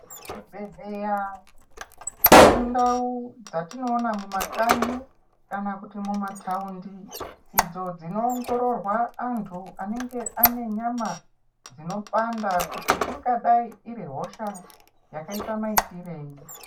Zvibhedhleya indau dzatinoona mumakanyi kana kuti mumataundi idzo dzinoongororwa antu anenge anenyama dzinopanda kuti ingadai iri hosha yakaita maitirei.